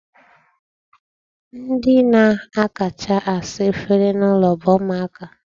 Ndi na-akacha asa efere n'ụlọ bụ ụmụaka.